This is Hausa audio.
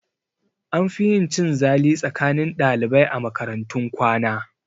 An fi yin cin zali tsakanin ɗalibai a makaratun kwana